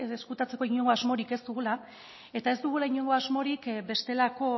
ezkutatzeko inongo asmorik ez dugula eta ez dugula inongo asmorik bestelako